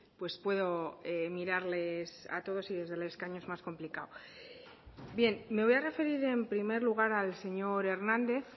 pues puedo mirarles a todos y desde el escaño es más complicado bien me voy a referir en primer lugar al señor hernández